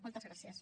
moltes gràcies